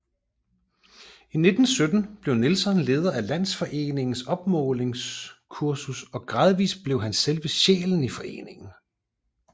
I 1917 blev Nielsen leder af Landsforeningens opmålingskursus og gradvist blev han selve sjælen i foreningen